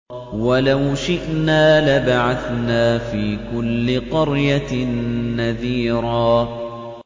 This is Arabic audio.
وَلَوْ شِئْنَا لَبَعَثْنَا فِي كُلِّ قَرْيَةٍ نَّذِيرًا